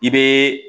I bɛ